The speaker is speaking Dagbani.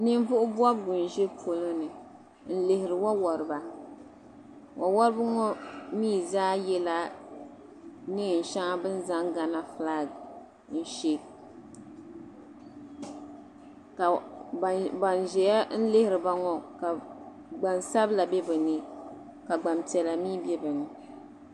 Ninvuɣu bɔbigi n ʒi polo ni n lihiri wa wariba wa warba ŋɔ zaa yela bɛni zaŋ gana fulaak n she ka ban ʒia n lihiriba ŋɔ gban sabila be bɛ ni ka gban piɛla mi be bɛ ni